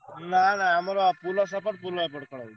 ନା ନା ଆମର ପୋଲ ସେପଟେ ପୋଲ ଏପଟେ ଖେଳ ହଉଛି।